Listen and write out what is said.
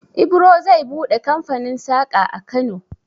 Ibro zai buɗe kamfanin saƙa a Kano.